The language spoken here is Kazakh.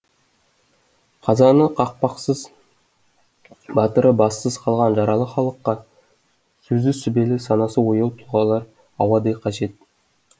қазаны қақпақсыз батыры бассыз қалған жаралы халыққа сөзі сүбелі санасы ояу тұлғалар ауадай қажет